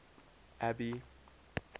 abby